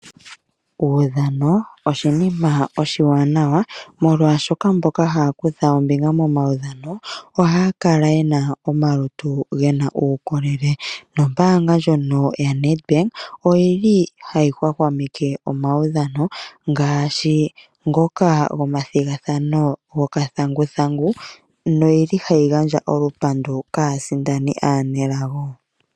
Uudhano oshinima oshiwanawa molwaashoka mboka haya kutha ombinga muudhano ohaya kala yena omalutu getu omawukole nombaanga ndjono ya Nedbank oyili hayi hwahwameke omaudhano ngaashi ngoka go mathigathano go kathanguthangu no yeli haya gandja olupandu kaasindani aanelago.